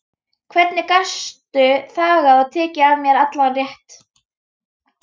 Hvernig gastu þagað og tekið af mér allan rétt?